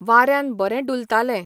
वाऱ्यान बरें डुलताले.